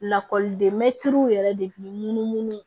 Lakɔliden mɛtiriw yɛrɛ de kun ye munu munu